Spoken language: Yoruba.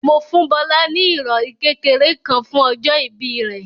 Mo fún Bọ́lá ní ìrọ̀rí kékeré kan fún ọjọ́ ìbí rẹ̀.